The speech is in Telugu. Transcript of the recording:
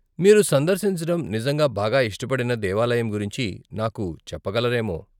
మీరు సందర్శించడం నిజంగా బాగా ఇష్టపడిన దేవాలయం గురించి నాకు చెప్పగలరేమో.